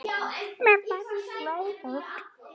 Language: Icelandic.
Mér verður flökurt